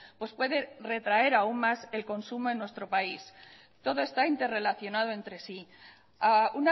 pues puede retraer aún más el consumo en nuestro país todo está interrelacionado entre sí a